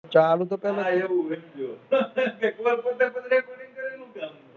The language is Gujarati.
ચાલુતો